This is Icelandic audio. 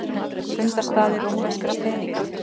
Fundarstaðir rómverskra peninga.